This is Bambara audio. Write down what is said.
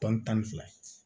Tɔn tan ni fila ye